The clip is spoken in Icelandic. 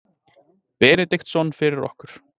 Benediktsson fyrir okkur.